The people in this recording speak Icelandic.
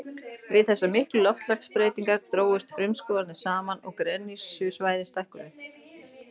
Við þessar miklu loftslagsbreytingar drógust frumskógarnir saman og gresjusvæðin stækkuðu.